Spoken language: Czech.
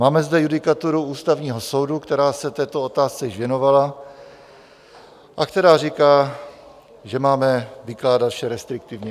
Máme zde judikaturu Ústavního soudu, která se této otázce již věnovala a která říká, že máme vykládat vše restriktivně.